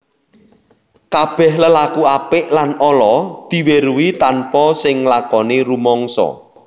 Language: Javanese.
Kabèh lelaku apik lan ala diweruhi tanpa sing nglakoni rumangsa